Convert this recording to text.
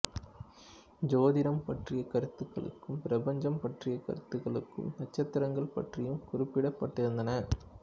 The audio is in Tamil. சோதிடம் பற்றிய கருத்துகளுக்கும் பிரபஞ்சம் பற்றிய கருத்துகளுக்கும் நட்சத்திரங்கள் பற்றியும் குறிப்பிடப்பட்டிருந்தன